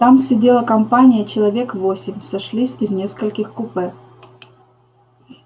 там сидела компания человек восемь сошлись из нескольких купе